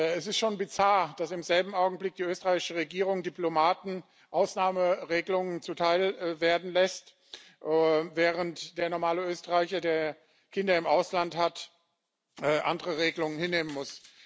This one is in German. Es ist schon bizarr, dass im selben Augenblick die österreichische Regierung Diplomaten Ausnahmeregelungen zuteil werden lässt, während der normale Österreicher, der Kinder im Ausland hat, andere Regelungen hinnehmen muss.